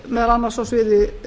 meðal annars á sviði